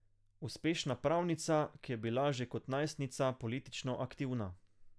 Uspešna pravnica, ki je bila že kot najstnica politično aktivna.